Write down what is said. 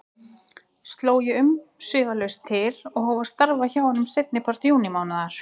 Sló ég umsvifalaust til og hóf að starfa hjá honum seinnipart júnímánaðar.